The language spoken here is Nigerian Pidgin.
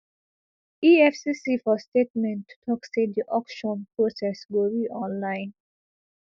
efcc for statement tok say di auction process go be online